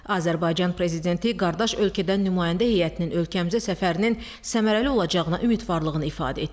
Azərbaycan Prezidenti qardaş ölkədən nümayəndə heyətinin ölkəmizə səfərinin səmərəli olacağına ümidvarlığını ifadə etdi.